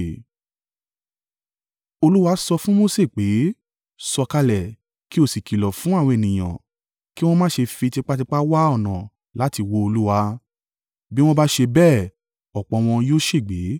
Olúwa sọ fún Mose pé, “Sọ̀kalẹ̀, kí ó sì kìlọ̀ fún àwọn ènìyàn, kí wọn má ṣe fi tipátipá wá ọ̀nà láti wo Olúwa, bí wọn bá ṣe bẹ́ẹ̀, ọ̀pọ̀ wọn yóò ṣègbé.